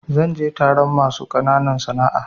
Zan je taron masu ƙananan sana'a.